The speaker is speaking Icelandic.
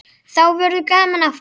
Þá verður gaman aftur.